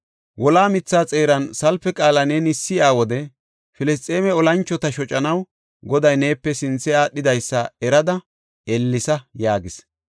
Wola mithaa xeeran salpe qaala neeni si7iya wode Filisxeeme olanchota shocanaw Goday neepe sinthe aadhidaysa erada ellesa” yaagis.